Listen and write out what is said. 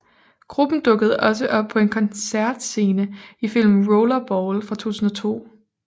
Gruppen dukkede også op på en koncertscene i filmen Rollerball fra 2002